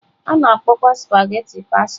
A na-akpọkwa spaghetị pasta.